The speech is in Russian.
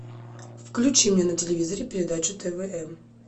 включи мне на телевизоре передачу тв м